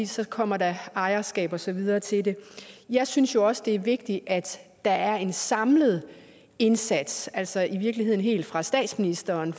så kommer der ejerskab og så videre til det jeg synes jo også det er vigtigt at der er en samlet indsats altså i virkeligheden helt fra statsministeren